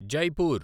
Jaipur